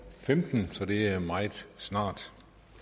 femten så det er meget snart